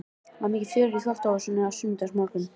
Það var mikið fjör í þvottahúsinu á sunnudagsmorgnum.